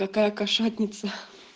какая кошатница